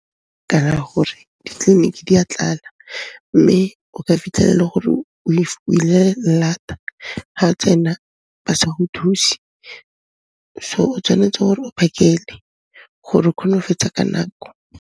gore ditleliniki di a tlala, mme o ka fitlhela e le gore o ile llata ga o tsena, ba sa go thuse. So, o tshwanetse gore o phakele gore o kgone go fetsa ka nako.